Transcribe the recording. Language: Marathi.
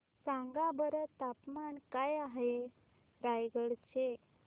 सांगा बरं तापमान काय आहे रायगडा चे